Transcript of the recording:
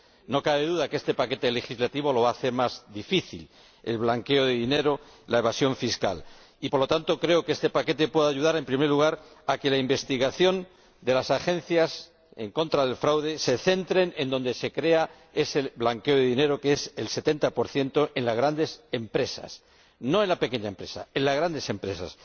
No cabe duda de que este paquete legislativo hace más difícil el blanqueo de dinero y la evasión fiscal. Por lo tanto, creo que este paquete puede ayudar, en primer lugar, a que la investigación de las agencias en contra del fraude se centre en donde se crea ese blanqueo de dinero, que es, en un 70, en las grandes empresas. No en la pequeña empresa en las grandes empresas.